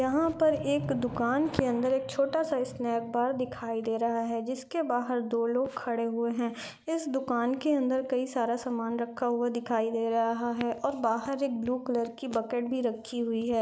यहां पर एक दुकान के अंदर एक छोटा सा स्नैप बार दिखाई दे रहा है जिसके बाहर दो लोग खड़े हुए है इस दुकान के अंदर कई सारा समान रखा हुआ दिखाई दे रहा है और बाहर एक ब्लू कलर की बकेट भी रखी हुई है।